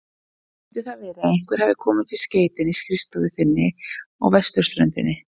Getur það verið að einhver hafi komist í skeytin í skrifstofu þinni á vesturströndinni?